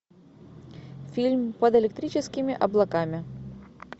фильм под электрическими облаками